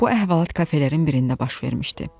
Bu əhvalat kafelərin birində baş vermişdi.